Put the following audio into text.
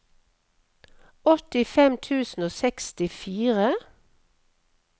åttifem tusen og sekstifire